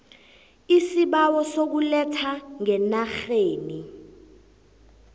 iisibawo sokuletha ngenarheni